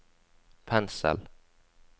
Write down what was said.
pensel